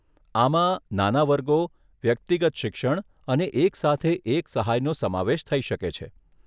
આમાં નાના વર્ગો, વ્યક્તિગત શિક્ષણ અને એક સાથે એક સહાયનો સમાવેશ થઈ શકે છે.